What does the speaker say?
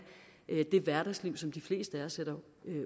det hverdagsliv som de fleste af os sætter